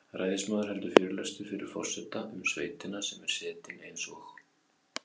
Ræðismaður heldur fyrirlestur fyrir forseta um sveitina sem er setin eins og